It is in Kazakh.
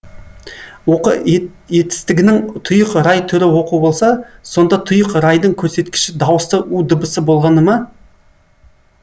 оқы етістігінің тұйық рай түрі оқу болса сонда тұйық райдың көрсеткіші дауысты у дыбысы болғаны ма